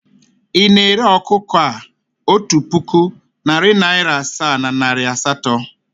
Ị na-ere ọkụkọ a otu puku, narị naịra asaa na naịra asatọ?